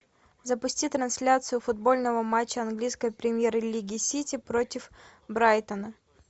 запусти трансляцию футбольного матча английской премьер лиги сити против брайтона